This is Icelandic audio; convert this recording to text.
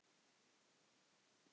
Hvað vildu þeir?